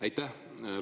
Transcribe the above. Aitäh!